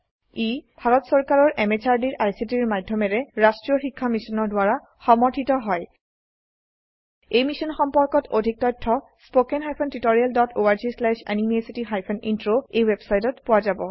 ই ভাৰত চৰকাৰৰ MHRDৰ ICTৰ মাধয়মেৰে ৰাস্ত্ৰীয় শিক্ষা মিছনৰ দ্ৱাৰা সমৰ্থিত হয় ই মিশ্যন সম্পৰ্কত অধিক তথ্য spoken hyphen tutorial dot org slash এনএমইআইচিত হাইফেন ইন্ট্ৰ ৱেবচাইটত পোৱা যাব